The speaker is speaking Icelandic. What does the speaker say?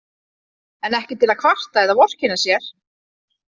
En ekki til að kvarta eða vorkenna sér.